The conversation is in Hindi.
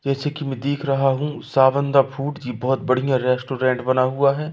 जैसे कि मैं देख रहा हूं सावन द फूड जी बहोत बढ़िया रेस्टोरेंट बना हुआ है।